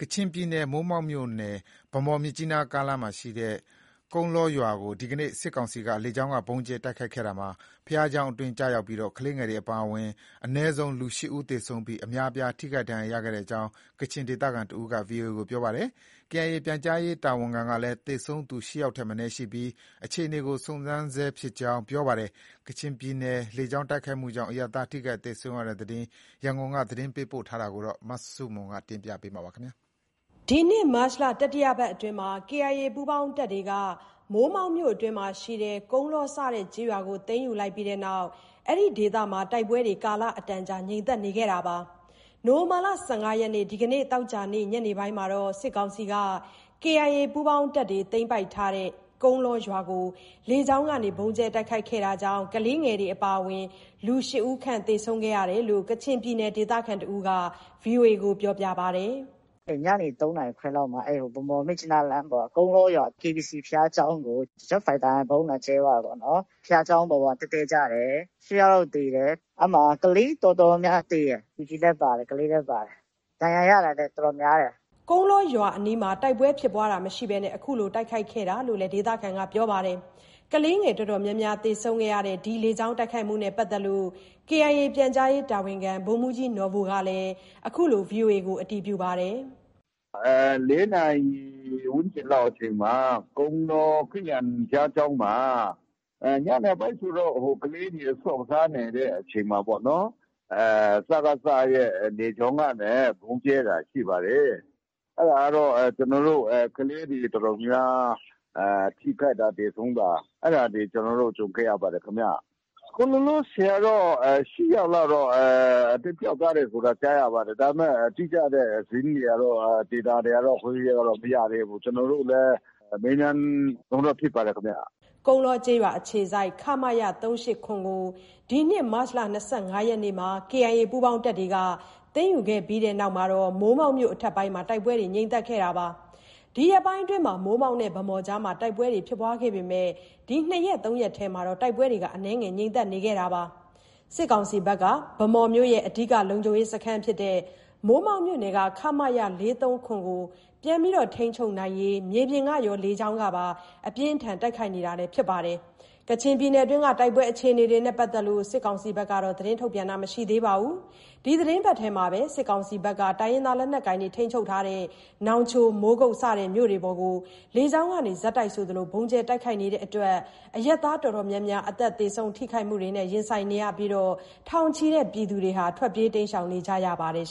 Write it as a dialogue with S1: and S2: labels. S1: ကချင်ပြည်နယ် မိုးမောက်မြို့နယ် ဗန်းမော်-မြစ်ကြီးနား ကားလမ်းရှိ ကုန်းလောရွာကို ဒီကနေ့ စစ်ကောင်စီက လေကြောင်းက ဗုံးကြဲတိုက်ခိုက်ခဲ့ရာမှာ ဘုရားကျောင်းအတွင်းကျရောက်ပြီး ကလေးငယ်တွေ အပါအဝင် အနည်းဆုံးလူ ၈ဦးသေဆုံးပြီး အများအပြားထိခိုက်ဒဏ်ရာရခဲ့ကြောင်း ကချင်ဒေသခံတဦးက VOA ကို ပြောပါတယ်။ KIA ပြန်ကြားရေးတာဝန်ခံကလည်း သေဆုံးသူ ၈ယောက်ထက်မနည်းရှိပြီး အခြေအနေကို စုံစမ်းနေဆဲဖြစ်ကြောင်း ပြောပါတယ်။ ကချင်ပြည်နယ် လေကြောင်းတိုက်ခိုက်မှုကြောင့် အရပ်သားထိခိုက်သေဆုံးရတဲ့ သတင်း ရန်ကုန်က သတင်းပေးပို့ထားပါတယ်။
S2: ဒီနှစ်မတ်လ တတိယပတ်အတွင်းမှာ KIA ပူးပေါင်းတပ်တွေက မိုးမောက်မြို့နယ်အတွင်းရှိ ကုန်းလော စတဲ့ကျေးရွာကိုသိမ်းယူလိုက်ပြီးနောက် ဒီဒေသမှ ကာလအတန်ကြာတိုက်ပွဲတွေငြိမ်သက်နေခဲ့ပါတယ်။ ဒီလ ၁၅ ရက်နေ့ သောကြာနေ့ ညနေပိုင်းမှာတော့ စစ်ကောင်စီက KIA ပူးပေါင်းတပ်တွေသိမ်းထားတဲ့ ကုန်းလောရွာကို လေကြောင်းက ဗုံးကြဲတိုက်ခိုက်ခဲ့တာကြောင့် ကလေးငယ်တွေအပါအဝင် လူ ၈ ဦးခန့် သေဆုံးရကြောင်း ကချင်ပြည်နယ် ဒေသခံတဦးက VOA ကို ပြောပါတယ်။ “ည
S3: နေ ၃ နာရီခွဲလောက်မှာ ဗန်းမော်-မြစ်ကြီးနားလမ်းပေါ်က ကုန်းလောရွာ KBC ဘုရားကျောင်းကို Jet Fighter နဲ့ ဗုံးလာကြဲသွားတာပေါ့နော်။ဘုရားကျောင်းပေါ်မှာ တည့်တည့်ကျတယ်။ ၈ ယောက် လောက်သေတယ်။ ကလေးတော်တော်များများ သေတယ်။ လူကြီးလည်း ပါတယ်။ ကလေးလည်း ပါတယ်။ ဒဏ်ရာရတာလည်း တော်တော်များတယ်
S2: ။” ကုန်းလောရွာအနီးမှာ တိုက်ပွဲဖြစ်ပွားတာမရှိဘဲ အခုလို တိုက်ခိုက်ခဲ့တာလို့လည်း ပြောပါတယ်။ ကလေးငယ်တော်တော်များများ သေဆုံးခဲ့ရတဲ့ ဒီလေကြောင်းတိုက်ခိုက်မှုနဲ့ပတ်သက်ပြီး KIA ပြန်ကြားရေး တာဝန်ခံ ဗိုလ်မှူးကြီးနော်ဘူကလည်း အခုလို အတည်ပြု ပြောကြားပါတယ်
S4: ။ “၄ နာရီ ဝန်းကျင်လောက်အချိန်မှာ ကုန်းလော ခရစ်ယာန်ဘုရားကျောင်းမှာ ညနေပိုင်းဆိုတော့ ကလေးတွေ ဆော့ကစားနေတဲ့အချိန်မှာပေါ့နော်။ စကစနဲ့ လေကြောင်းကနေ ဗုံးကြဲတာ ရှိပါတယ်။ ကလေးတွေအတော်များများ ထိခိုက်တာ သေဆုံးတာ အဲဒါတွေ ကျနော်တို့ ကြုံခဲ့ရပါတယ်ခင်ဗျ။ အခုလောလောဆယ်ကတော့ ၈ ယောက်လောက်တော့ သေပျောက်သွားတယ်ဆိုတာ ကြားရပါတယ်။ ဒါပေမဲ့ တိကျတဲ့ သတင်းတွေ Deta တွေကတော့ မရသေးဘူး။ ကျနော်တို့လည်း မေးမြန်းတုန်းပဲ ဖြစ်ပါတယ်ခင်ဗျ။
S2: ” ကုန်းလောကျေးရွာအခြေစိုက် ခမရ ၃၈၇ ကို ဒီနှစ် မတ်လ ၂၅ ရက်နေ့က KIA ပူးပေါင်းတပ်တွေက သိမ်းယူခဲ့ပြီးနောက် မိုးမောက်မြို့နယ် အထက်ပိုင်းမှာ တိုက်ပွဲတွေ ငြိမ်သက်နေခဲ့တာပါ။ ဒီရက်ပိုင်းအတွင်း မိုးမောက်နဲ့ ဗန်းမော်ကြားမှာ တိုက်ပွဲတွေပြင်းထန်ခဲ့ပေမဲ့ ဒီ ၂ရက်၊ ၃ ရက်အတွင်း တိုက်ပွဲတွေ အနည်းငယ်ငြိမ်သက်နေခဲ့ပါတယ်။ စစ်ကောင်စီဘက်ကတော့ ဗန်းမော်မြို့ရဲ့အဓိက လုံခြုံရေးစခန်းဖြစ်တဲ့ မိုးမောက်မြို့နယ်က ခမရ ၄၃၇ ကို ပြန်လည် ထိန်းချုပ်နိုင်ဖို့ မြေပြင်ကရော လေကြောင်းကပါ အပြင်းအထန် တိုက်ခိုက်နေတာလည်း ဖြစ်ပါတယ်။ ကချင်ပြည်နယ်တွင်းက တိုက်ပွဲအခြေအနေတွေနဲ့ပတ်သက်လို့ စစ်ကောင်စီဘက်က သတင်းထုတ်ပြန်တာမရှိသေးပါဘူး။ ဒီသီတင်းပတ်ထဲမှာပဲ စစ်ကောင်စီဘက်က နောင်ချို၊ မိုးကုတ်မြို့တွေပေါ်ကိုလည်း လေကြောင်းကနေ ဆက်တိုက်ဆိုသလို ဗုံးကြဲတိုက်ခိုက်နေလို့ အရပ်သားတော်တော်များများ အသက်သေဆုံး ထိခိုက်မှုတွေနဲ့ ရင်ဆိုင်နေရပြီး ထောင်ချီတဲ့ပြည်သူတွေ ထွက်ပြေးတိမ်းရှောင်နေကြရပါတယ်